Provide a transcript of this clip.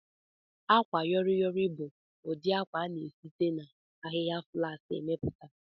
Akwayọrịyorị bu ụdị akwa a na-esite n'ahịhịa flaks emepụta